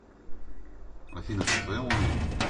афина ты в своем уме